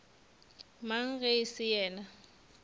mang ge e se yena